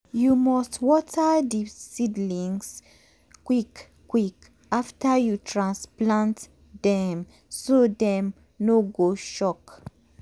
you must water di seedlings quick quick after you transplant dem so dem no go shock.